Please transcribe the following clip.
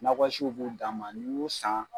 Nakɔ siw b'o dan ma n'i y'o san